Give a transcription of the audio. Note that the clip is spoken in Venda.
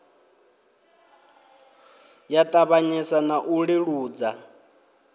ya ṱavhanyesa na u leludza